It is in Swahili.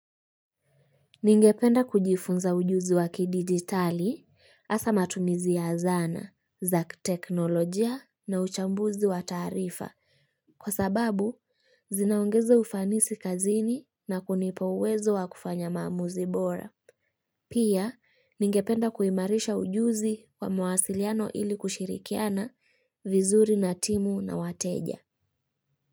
Ningependa kujifunza ujuzi wakidigitali hasa matumizi ya zana, za kiteknolojia na uchambuzi wa taarifa. Kwa sababu, zinaongezea ufanisi kazini na kunipa uwezo wa kufanya maamuzi bora. Pia, ningependa kuimarisha ujuzi wa mawasiliano ili kushirikiana vizuri na timu na wateja.